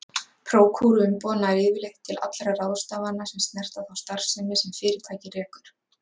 Prókúruumboð nær yfirleitt til allra ráðstafana sem snerta þá starfsemi sem fyrirtækið rekur.